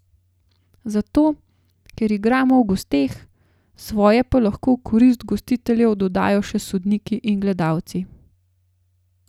Zato, ker igramo v gosteh, svoje pa lahko v korist gostiteljev dodajo še sodniki in gledalci.